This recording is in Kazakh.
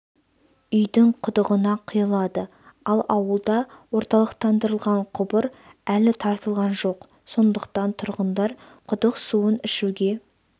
үйдің құдығына құйылады ал ауылда орталықтандырылған құбыр әлі тартылған жоқ сондықтан тұрғындар құдық суын ішуге